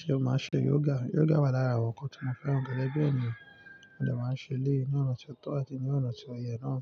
Ṣé o máa ṣe yoga? Yoga wà lára àwọn ǹkan tí mo fẹ́ràn gẹ́gẹ́ bí ènìyàn. Mo dẹ̀ máa ń ṣe ilé ní ọ̀nà tí ó tọ́ àti ní ọ̀nà tí ó yẹ náà.